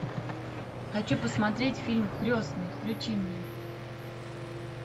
хочу посмотреть фильм крестный включи мне